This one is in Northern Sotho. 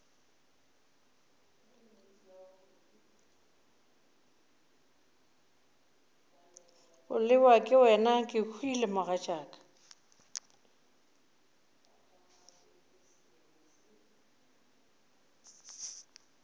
bolelwa ke wena kehwile mogatšaka